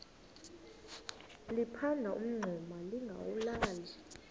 liphanda umngxuma lingawulali